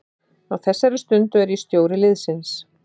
Á þessari stundu er ég stjóri liðsins.